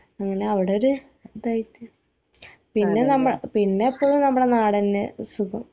അങ്ങനെ അവിടൊരു ഇതായിട്ട് പിന്നെ നമ്മള് പിന്നൊക്കെ നമ്മടെ നാടനെ സുഖം